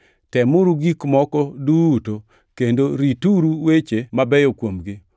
Temuru gik moko duto, kendo rituru weche mabeyo kuomgi.